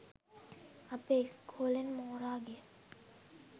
අපේ ඉස්කෝලෙන් මෝරා ගිය